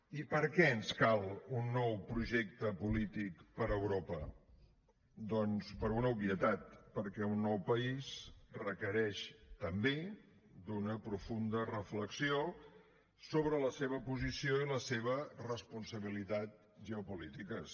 i per què ens cal un nou projecte polític per a europa doncs per una obvietat perquè un nou país requereix també una profunda reflexió sobre la seva posició i la seva responsabilitat geopolítiques